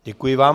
Děkuji vám.